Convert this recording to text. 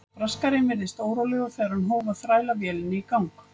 Braskarinn virtist órólegur þegar hann hóf að þræla vélinni í gang.